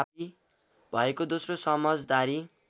भएको दोस्रो समझदारी